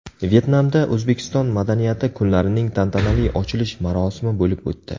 Vyetnamda O‘zbekiston madaniyati kunlarining tantanali ochilish marosimi bo‘lib o‘tdi .